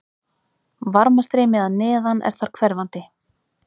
Varmastreymi að neðan er þar hverfandi.